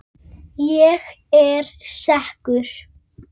Ég er sekur.